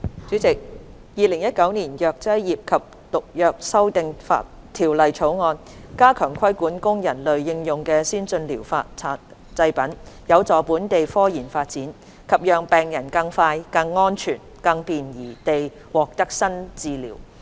主席，《2019年藥劑業及毒藥條例草案》加強規管供人類應用的先進療法製品，有助本地科研發展及讓病人更快、更安全、更便宜地獲得新治療。